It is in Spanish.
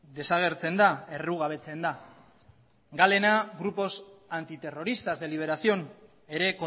desagertzen da errugabetzen da galena grupos antiterroristas de liberación ere